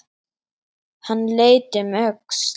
Hann leit um öxl.